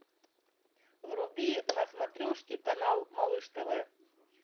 вруби на смотрешке канал малыш тв